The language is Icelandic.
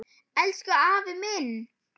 Elsku afi minn!